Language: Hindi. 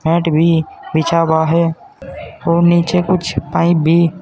मैट भी बिछा हुआ है और नीचे कुछ पाइप भी--